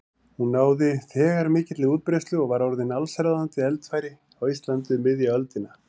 Hún náði þegar mikilli útbreiðslu og var orðin allsráðandi eldfæri á Íslandi um miðja öldina.